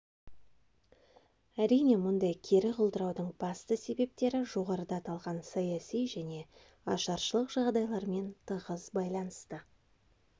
әрине мұндай кері құлдыраудың басты себептері жоғарыда аталған саяси және ашаршылық жағдайларымен тығыз байланысты